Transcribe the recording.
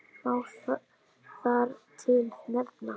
Má þar til nefna